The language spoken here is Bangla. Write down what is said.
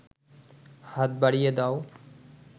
হাত বাড়িয়ে দাও